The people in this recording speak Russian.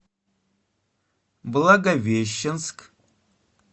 благовещенск